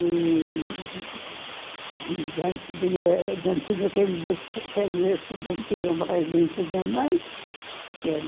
E e já não tinha não tinha quem me disse quem me disse não tinha mãe, nem tinha mãe.